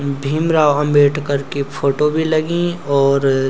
भीमराव अंबेडकर की फोटु बि लगीं और --